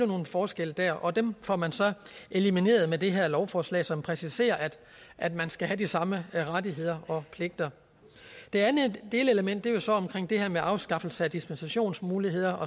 nogle forskelle og dem får man så elimineret med det her lovforslag som præciserer at man skal have de samme rettigheder og pligter det andet delelement er jo så omkring det her med afskaffelse af dispensationsmuligheder